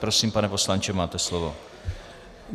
Prosím, pane poslanče, máte slovo.